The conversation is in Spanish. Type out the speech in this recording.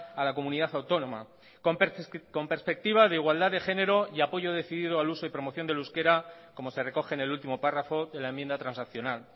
a la comunidad autónoma con perspectiva de igualdad de género y apoyo decidido al uso y promoción del euskera como se recoge en el último párrafo de la enmienda transaccional